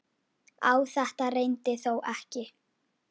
Á þetta reyndi þó ekki.